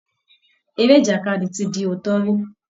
Eré ìjàkadì ti di òótọ́ rí